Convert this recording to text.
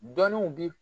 Dɔnniw bi